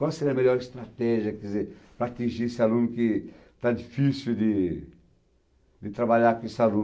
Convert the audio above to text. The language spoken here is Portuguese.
Qual seria a melhor estratégia, quer dizer, para atingir esse aluno que está difícil de de trabalhar com esse aluno?